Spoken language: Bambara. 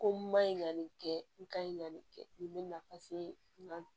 Ko n ma ɲi ka nin kɛ n ka ɲi ka nin kɛ nin bɛna